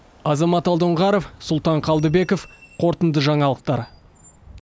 азамат алдоңғаров сұлтан қалдыбеков қорытынды жаңалықтар